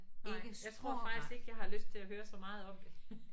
Nej jeg tror faktisk ikke jeg har lyst til at høre så meget om det